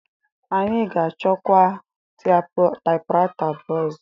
Anyị ga-achọkwa taịpụraịta abụọ ọzọ.